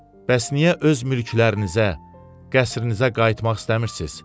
Bəs niyə öz mülklərinizə, qəsrinizə qayıtmaq istəmirsiz?